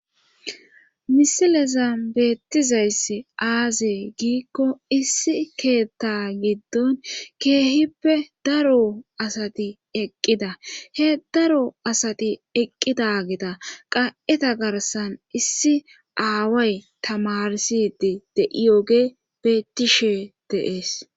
Misileza beettizayss aaze giikko issi keetta giddon keehippe daro asati eqqida he daro asati eqqida geta qa7eta garsan issi aaway tamarsidi de7iyoge beettishe deees.